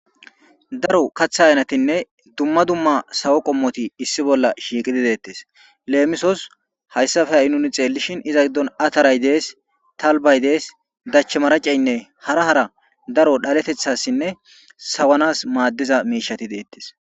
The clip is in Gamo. Daro kaththa haynatinne dumma dumma sawo qommoti issi bolla shiiqidi deettes leemisos hayssafe ha'i nuni xeellishin iza giddon ataray dees talbay dees dach maraceynne hara hara daro dhaleteththassinne sawanas maaddiza miishati deettes.